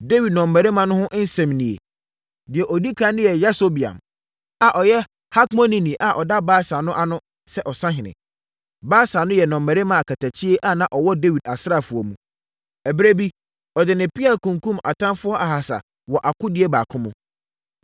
Dawid nnɔmmarima no ho nsɛm nie: Deɛ ɔdi ɛkan no ne Yasobeam, a ɔyɛ Hakmonini a na ɔda Baasa no ano sɛ ɔsahene—Baasa no yɛ nnɔmmarima akatakyie a na wɔwɔ Dawid asraafoɔ mu. Ɛberɛ bi, ɔde ne pea kunkumm atamfoɔ ahasa wɔ akodie baako mu.